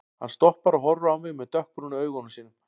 Hann stoppar og horfir á mig með dökkbrúnu augunum sínum.